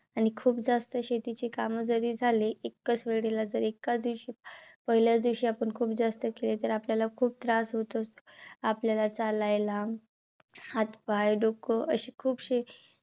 आणि खूप जास्त शेतीची काम जरी झाली. एक्काचवेळेला जर एक्काच दिवशी पहिल्याच दिवशी आपण खूप जास्त केले. तर आपल्याला खूप त्रास होत असतो. आपल्याला चालायला हातपाय, डोक अशी खूपशी